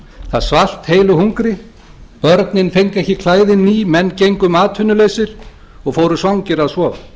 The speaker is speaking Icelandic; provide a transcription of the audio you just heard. það svalt heilu hungri börnin fengu ekki klæðin ný menn gengu um atvinnulausir og fóru svangir að sofa